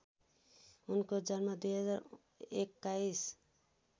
उनको जन्म २०२१